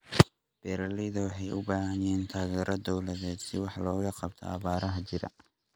Beeralayda waxay u baahan yihiin taageero dawladeed si wax looga qabto abaaraha jira.